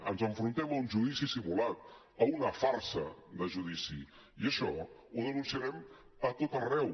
ens enfrontem a un judici simulat a una farsa de judici i això ho denunciarem a tot arreu